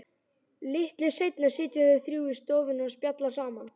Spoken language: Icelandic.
Litlu seinna sitja þau þrjú í stofunni og spjalla saman.